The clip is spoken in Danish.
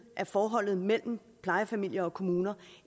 af forholdet mellem plejefamilier og kommuner